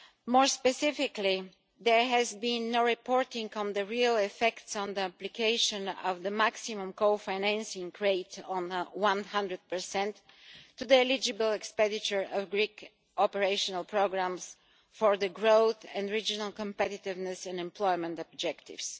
More specifically, there has been no reporting on the real effects on the application of the maximum cofinancing rate of 100 to the eligible expenditure of Greek operational programmes for the growth and regional competitiveness in employment objectives.